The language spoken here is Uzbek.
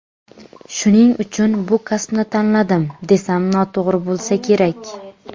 Shuning uchun bu kasbni tanladim, desam noto‘g‘ri bo‘lsa kerak.